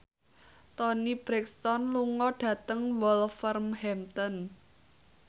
Toni Brexton lunga dhateng Wolverhampton